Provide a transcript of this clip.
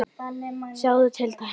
Sjáðu til dæmis